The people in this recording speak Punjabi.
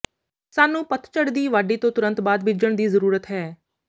ਸਾਨੂੰ ਪਤਝੜ ਦੀ ਵਾਢੀ ਤੋਂ ਤੁਰੰਤ ਬਾਅਦ ਬੀਜਣ ਦੀ ਜ਼ਰੂਰਤ ਹੈ